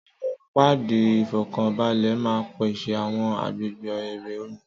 Àwọn páàdì ìfọ́kànbalẹ̀ máa ń pèsè àwọn agbègbè eré omi.